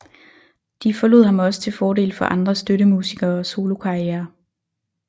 De forlod ham også til fordel for andre støttemusikere og solokarrierer